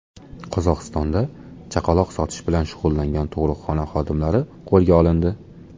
Qozog‘istonda chaqaloq sotish bilan shug‘ullangan tug‘ruqxona xodimalari qo‘lga olindi.